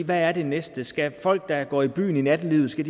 hvad er det næste skal folk der går i byen i nattelivet